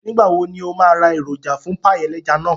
Nígbà wo ní o máa ra èròjà fún páì ẹlẹ́ja náà